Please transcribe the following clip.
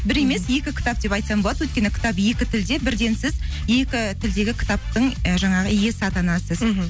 бір емес екі кітап деп айтсам болады өйткені кітап екі тілде бірден сіз екі тілдегі кітаптың і жаңағы иесі атанасыз мхм